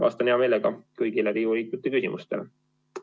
Vastan hea meelega kõigile Riigikogu liikmete küsimustele.